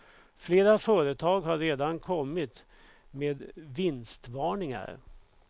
Flera företag har redan kommit med vinstvarningar.